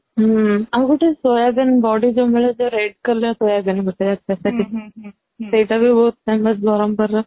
ହୁଁ ଆଉ ଗୋଟେ soybean ବଡି ଯୋଉ ମିଳେ ଜୋ red color, soybean ଭିତରେ ସେଟା ବି ବହୁତ famous ବରମପୁର ର